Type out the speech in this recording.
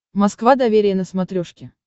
москва доверие на смотрешке